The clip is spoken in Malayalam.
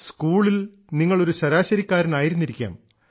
സ്കൂളിൽ നിങ്ങൾ ഒരു ശരാശരിക്കാരനായിരുന്നിരിക്കാം